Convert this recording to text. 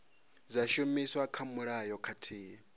dza shumiswa kha mulayo khathihi